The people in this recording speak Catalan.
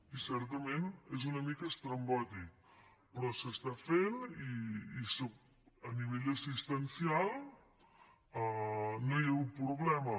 i certament és una mica estrambòtic però s’està fent i a nivell assistencial no hi ha hagut problema